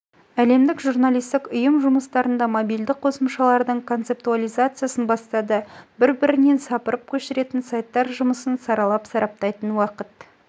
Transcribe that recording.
әлемдік журналистік ұйым жұмыстарында мобильді қосымшалардың концептуализациясын бастады бір-бірінен сапырып көшіретін сайттар жұмысын саралап сараптайтын уақыт